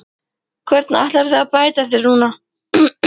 Hvernig ætlarðu að bæta þig núna?